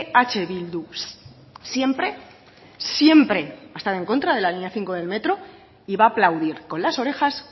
eh bildu siempre siempre ha estado en contra de la línea cinco del metro y va a aplaudir con las orejas